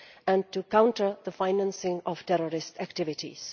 and to counter the financing of terrorist activities.